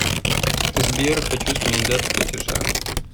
сбер хочу сменить дату платежа